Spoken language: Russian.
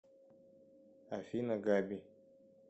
афина габи